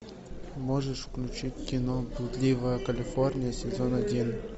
можешь включить кино блудливая калифорния сезон один